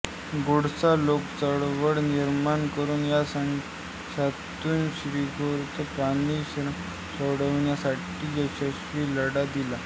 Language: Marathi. घोडसाठी लोकचळवळ निर्माण करून या संघर्षातून श्रीगोंद्यात पाणी प्रश्न सोडवण्यासाठी यशस्वी लढा दिला